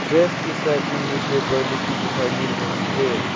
Dress के इस side में न्यूजपेपर लोग भी दिखाई मिल रही है।